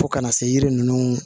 Fo kana se yiri ninnu